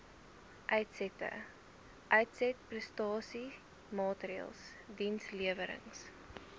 uitsette uitsetprestasiemaatreëls dienslewerings